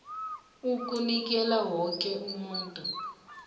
ukunikela woke umuntu